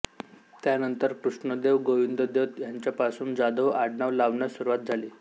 त्यानंतर कृष्णदेव गोविंददेव यांच्यापासून जाधव आडनाव लावण्यास सुरुवात झाली